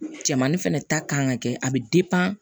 Cɛmanni fɛnɛ ta kan ka kɛ a bɛ